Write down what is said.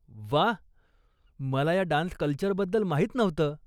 व्वा, मला या डान्स कल्चरबद्दल माहीत नव्हतं.